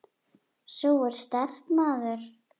Sú er sterk, maður!